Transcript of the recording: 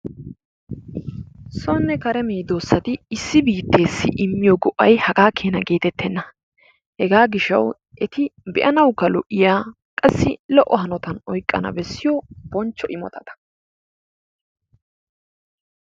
Sonne kare medoossati issi biitteessi immiyoo go''ay hagaa keena geetettenna. Hegaa gishshawu be'anawukka lo''iya qassi lo''o hanotan oyqqana bessiyo bonchcho imotata.